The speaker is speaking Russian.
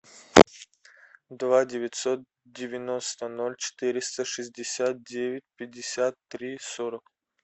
два девятьсот девяносто ноль четыреста шестьдесят девять пятьдесят три сорок